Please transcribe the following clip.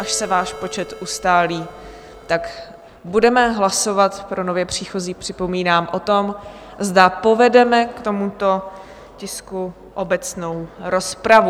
Až se váš počet ustálí, tak budeme hlasovat - pro nově příchozí připomínám - o tom, zda povedeme k tomuto tisku obecnou rozpravu.